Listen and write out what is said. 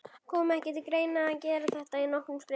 Kom ekki til greina að gera þetta í nokkrum skrefum?